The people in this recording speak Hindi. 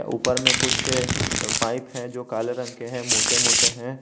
ऊपर में कुछ पाइप है जो काले रंग के हैं मोटे मोटे हैं।